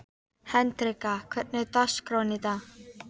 Hendrikka, hvernig er dagskráin í dag?